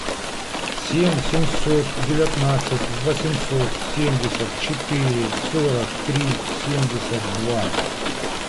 семь семьсот девятнадцать восемьсот семьдесят четыре сорок три семьдесят два